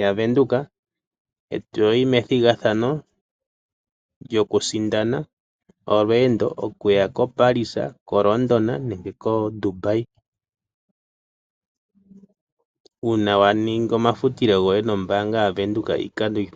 yaVenduka, eto yi methigathano lyokusindana olweendo okuya koParis, koLondon nenge koDubai, uuna wa ningi omafutilo goye nombaanga yaVenduka iikando oyindji.